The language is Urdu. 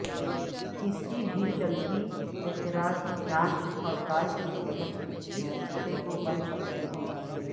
کسی بھی چلتی اعتراض جانچ پڑتال کے تحت اس کتے کو بن سکتے ہیں